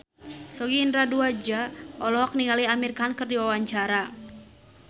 Sogi Indra Duaja olohok ningali Amir Khan keur diwawancara